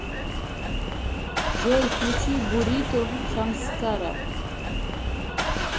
джой включи бурито самскара